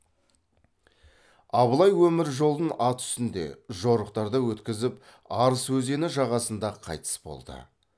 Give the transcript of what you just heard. абылай өмір жолын ат үстінде жорықтарда өткізіп арыс өзені жағасында қайтыс болды